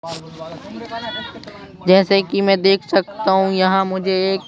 जैसे कि मैं देख सकता हूं यहां मुझे एक--